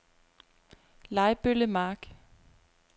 Lejbølle Mark